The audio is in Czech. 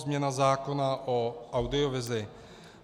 Změna zákona o audiovizi.